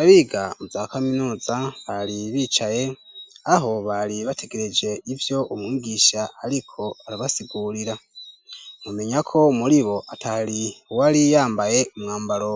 Abiga mu za kaminuza bari bicaye aho bari bategereje ivyo umwigisha ariko arabasigurira. Mwomenya ko muri bo atari wari yambaye umwambaro